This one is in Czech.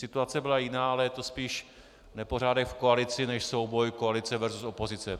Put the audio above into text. Situace byla jiná, ale je to spíš nepořádek v koalici než souboj koalice versus opozice.